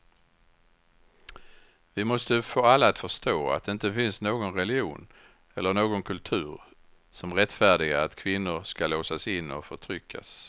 Vi måste få alla att förstå att det inte finns någon religion eller någon kultur som rättfärdigar att kvinnor ska låsas in och förtryckas.